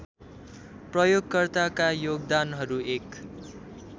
प्रयोगकर्ताका योगदानहरू एक